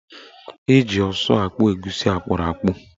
Eji ọsụ akpụ egusi akpụrụakpụ.